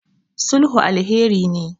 sulhu alheri ne